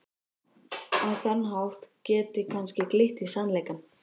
Á þann hátt geti kannski glitt í sannleikann.